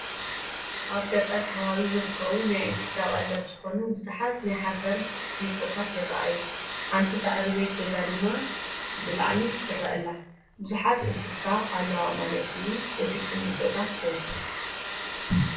ኣብ ገጠር ከባቢ ዝርከቡ ናይ እንስሳ ቀለብ ዝኾኑ ብዙሓት ናይ ሓሰር ቁሚጦታት ይራኣዩ፡፡ ሓንቲ ሳዕሪ ቤት ገዛ ድማ ብላዕሊ ትረአ ኣላ፡፡ ብዙሓት እንስሳ ኣለዋ ማለት እዩ እቲ ቁሚጦታት በዚሑ?